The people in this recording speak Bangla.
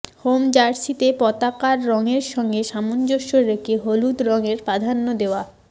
হোম জার্সিতে পতাকার রংয়ের সঙ্গে সামঞ্জস্য রেখে হলুদ রংয়ের প্রাধান্য দেওয়া